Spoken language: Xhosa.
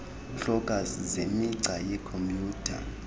hloko zemigca yekhompuyutha